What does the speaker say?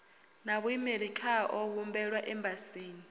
na vhuimeli khao humbelwa embasini